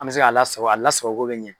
An bɛ se k'a lasako lasako cogo bɛ ɲan.